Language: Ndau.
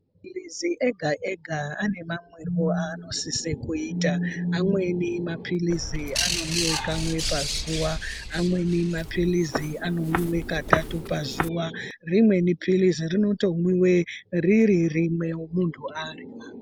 Mapirizi ega ega ane mamwirwo aanosisa kuita. Amweni mapilizi anomwiwa kamwe pazuwa, amweni mapilizi anomwiwa katatu pazuwa. Rimweni pilizi rinotomwiwa riri rimwe muntu adyra.